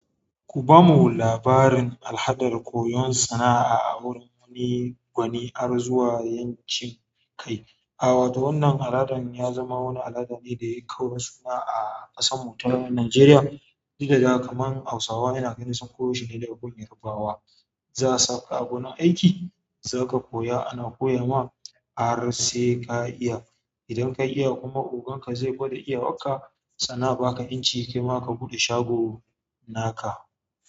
Ku bamu labarin al'adar koyon sana'a a wurin wani gwani, har zuwa ƴancin kai. A wato wannan al'adan ya zama wani al'ada ne da ya yi kaurin suna a ƙasar mu ta Najeriya. Dukadai kamar Hausawa yana irin sun koyo shine da koyon Yarbawa. Za a sa ka a wani aiki, za ka koya, ana koya ma har sai ka iya. Idan ka iya kuma ogan ka zai gwada iya wa ka sannan a baka ƴanci kai ma ka buɗe shago naka.